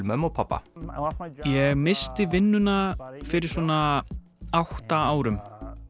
mömmu og pabba ég missti vinnuna fyrir svona átta árum